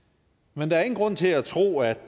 men der er ingen grund til at tro at